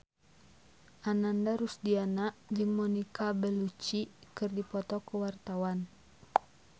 Ananda Rusdiana jeung Monica Belluci keur dipoto ku wartawan